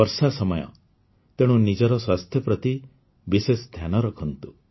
ବର୍ଷା ସମୟ ତେଣୁ ନିଜର ସ୍ୱାସ୍ଥ୍ୟ ପ୍ରତି ବିଶେଷ ଧ୍ୟାନ ରଖନ୍ତୁ